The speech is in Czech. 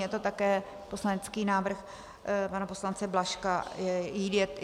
Je to také poslanecký návrh pana poslance Blažka.